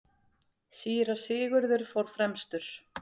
Síra Sigurður fór fremstur.